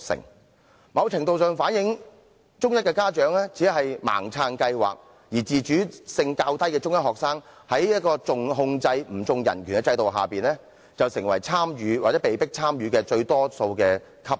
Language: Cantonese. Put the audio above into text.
這情況某程度上反映中一家長只是盲目支持計劃，而且中一學生自主能力較低，在"重控制不重人權"的制度下，便成為參與或被迫參與最多的級別。